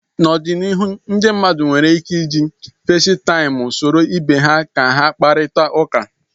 N'ọdịnihu ndị mmadụ nwere ike iji Festaịmụ soro ibe ha kpakọrịta ụka